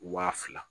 Wa fila